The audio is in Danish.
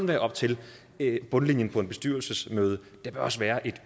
være op til bundlinjen ved et bestyrelsesmøde der bør også være et